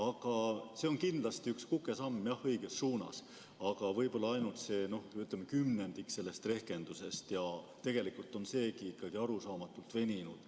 Jah, see on kindlasti üks kukesamm õiges suunas, aga võib-olla ainult kümnendik kogu rehkendusest, ja tegelikult on seegi arusaamatult veninud.